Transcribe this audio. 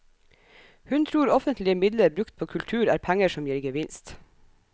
Hun tror offentlige midler brukt på kultur er penger som gir gevinst.